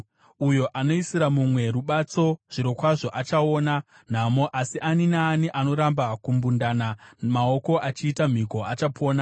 Uyo anoisira mumwe rubatso zvirokwazvo achaona nhamo, asi ani naani anoramba kumbundana maoko achiita mhiko achapona.